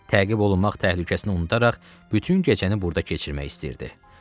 Təqib olunmaq təhlükəsini unudaraq bütün gecəni burda keçirmək istəyirdi.